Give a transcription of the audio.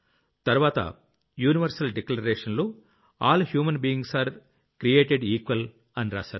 తర్వాత యూనివర్సల్ Declarationలో all human beings are created equal అని రాశారు